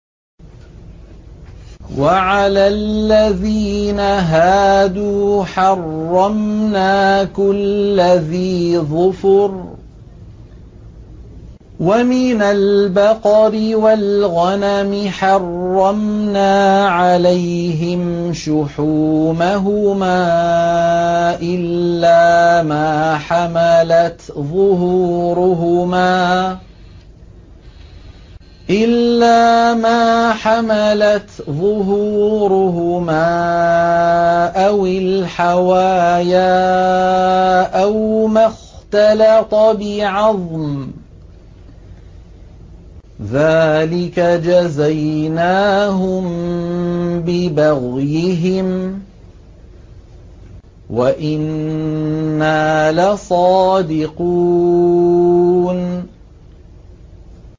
وَعَلَى الَّذِينَ هَادُوا حَرَّمْنَا كُلَّ ذِي ظُفُرٍ ۖ وَمِنَ الْبَقَرِ وَالْغَنَمِ حَرَّمْنَا عَلَيْهِمْ شُحُومَهُمَا إِلَّا مَا حَمَلَتْ ظُهُورُهُمَا أَوِ الْحَوَايَا أَوْ مَا اخْتَلَطَ بِعَظْمٍ ۚ ذَٰلِكَ جَزَيْنَاهُم بِبَغْيِهِمْ ۖ وَإِنَّا لَصَادِقُونَ